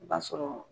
I b'a sɔrɔ